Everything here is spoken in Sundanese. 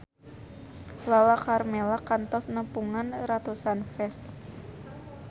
Lala Karmela kantos nepungan ratusan fans